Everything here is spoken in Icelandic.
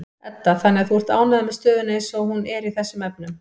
Edda: Þannig að þú ert ánægður með stöðuna eins og hún er í þessum efnum?